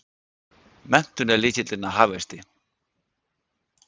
Menntun er lykillinn að hagvexti!